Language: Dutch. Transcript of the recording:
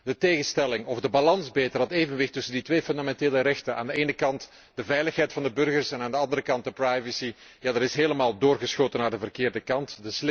De tegenstelling, of beter gezegd de balans tussen die twee fundamentele rechten, aan de ene kant de veiligheid van de burgers en aan de andere kant de privacy, die is helemaal doorgeschoten naar de verkeerde kant.